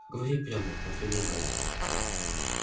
говори прямо потребовал гарри